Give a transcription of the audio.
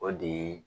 O de ye